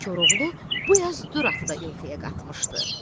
Koroğlu bu yaz Dür atı da İlxıya qatmışdı.